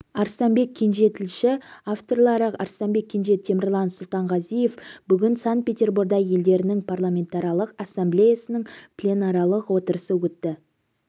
арыстанбек кенже тілші авторлары арыстанбек кенже темірлан сұлтанғазиев бүгін санкт-петорборда елдерінің парламентаралық ассамблеясының пленарлық отырысы өтті